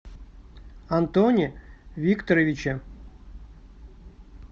антоне викторовиче